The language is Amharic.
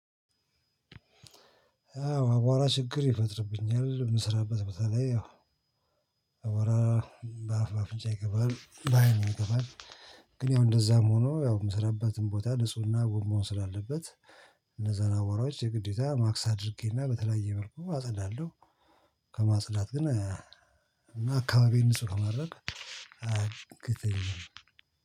አዎ አቧራ ችግር ይፈጥርብኛል። የምሰራበት ቦታ ላይ አቧራ በአፍ፣ በአፍንጫ ይገባል። በአይንም ይገባል። ግን ያው እንደዛም ሆኖ ያው የምሰራበትን ቦታ ንጹህ እና ውብ መምሰል አለበት። እነዛን አቧራዎች ማስክ አድርጌና በተለያዩ መልኩ አጸዳለሁ። ከማፅዳት ግን እና አካባቢን ንጹህ ከማድረግ አያግደኝም።